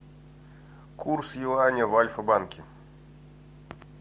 курс юаня в альфа банке